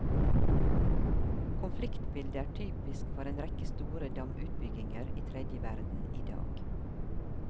Konfliktbildet er typisk for en rekke store damutbygginger i tredje verden i dag.